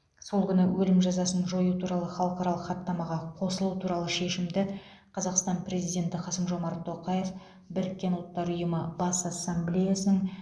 сол күні өлім жазасын жою туралы халықаралық хаттамаға қосылу туралы шешімді қазақстан президенті қасым жомарт тоқаев біріккен ұлттар ұйымы бас ассамблеясының